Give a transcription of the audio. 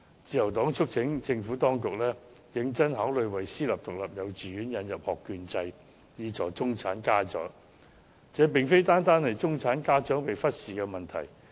自由黨促請政府當局認真考慮為私營獨立幼稚園引入學券制，以助中產家長，這個其實不止是中產家長被忽視的問題。